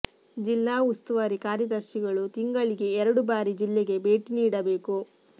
ಜಿಲ್ಲಾ ಉಸ್ತುವಾರಿ ಕಾರ್ಯದರ್ಶಿ ಗಳು ತಿಂಗಳಿಗೆ ಎರಡು ಬಾರಿ ಜಿಲ್ಲೆಗೆ ಭೇಟಿ ನೀಡಬೇಕು